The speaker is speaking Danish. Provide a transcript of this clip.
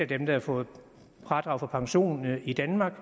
dem der har fået fradrag for pension i danmark